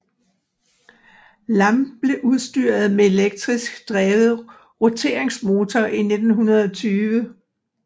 Lampen blev udstyret med elektrisk drevet roteringsmotor i 1920